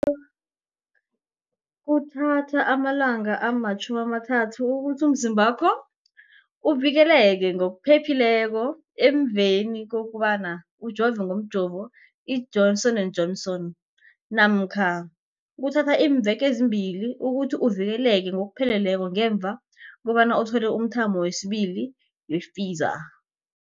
Kuthatha amalanga ama-30 ukuthi umzimbakho uvikeleke ngokupheleleko emveni kobana ujove ngomjovo i-Johnson and Johnson namkha kuthatha iimveke ezimbili ukuthi uvikeleke ngokupheleleko ngemva kobana uthole umthamo wesibili wePfizer.